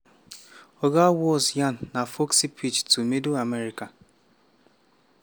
oga walz yarn na folksy pitch to middle america.